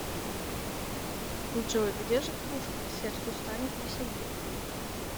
джой где же кружка сердцу станет веселей